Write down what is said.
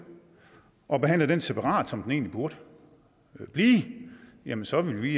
og behandlede det separat som det egentlig burde blive jamen så ville vi